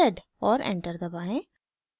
और enter दबाएं